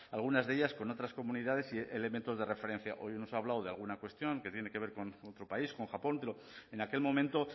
algunas de ellas con otras comunidades y elementos de referencia hoy nos ha hablado de alguna cuestión que tiene que ver con otro país con japón pero en aquel momento